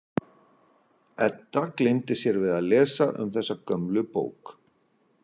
Edda gleymdi sér við að lesa um þessa gömlu bók.